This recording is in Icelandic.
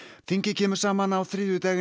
þingið kemur saman á þriðjudag